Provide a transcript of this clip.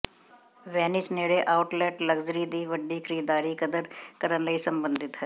Venice ਨੇੜੇ outlet luxury ਦੀ ਵੱਡੀ ਖਰੀਦਦਾਰੀ ਕਦਰ ਕਰਨ ਲਈ ਸਬੰਧਿਤ ਹੈ